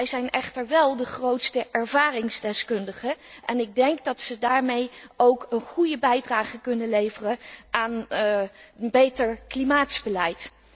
Zij zijn echter wel de grootste ervaringsdeskundigen en ik denk dat zij daarmee ook een goede bijdrage kunnen leveren aan een beter klimaatbeleid.